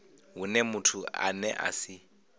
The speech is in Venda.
hune muthu ane a si